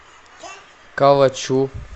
калачу